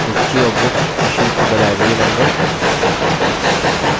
history of books issued to the library members